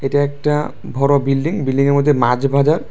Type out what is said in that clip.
এটা একটা ভরো বিল্ডিং বিল্ডিংয়ের মদ্যে মাছ বাজার।